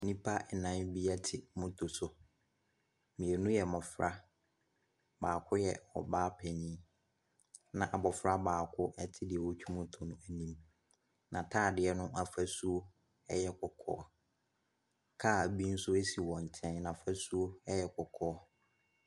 Nnipa ɛnan bi ɛte moto so, mmienu yɛ mmɔfra, baako yɛ ɔbaa panin na abɔfra baako ɛte deɛ ɔɔtwi moto no anim, n'ataadeɛ no afasuo ɛyɛ kɔkɔɔ, kaa bi nso esi wɔn nkyɛn n'afasuo ɛyɛ kɔkɔɔ.